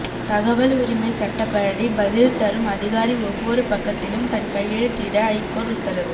தகவல் உரிமை சட்டப்படி பதில் தரும் அதிகாரி ஒவ்வொரு பக்கத்திலும் தன் கையெழுத்திட ஐகோர்ட் உத்தரவு